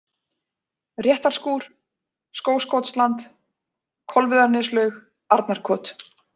Réttarskúr, Skógskotsland, Kolviðarneslaug, Arnarkot